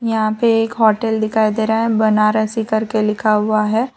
यहां पे एक होटल दिखाई दे रहा है बनारसी करके लिखा हुआ है।